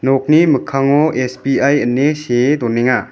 nokni mikkango S_B_I ine see donenga.